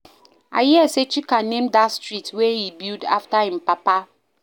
I hear say Chika name dat street wey he build after im papa